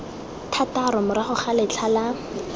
thataro morago ga letlha la